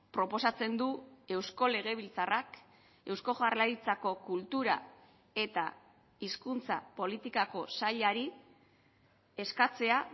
proposatzen du eusko legebiltzarrak eusko jaurlaritzako kultura eta hizkuntza politikako sailari eskatzea